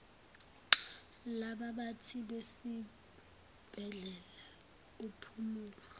labaphathi besibhedlela umphumulo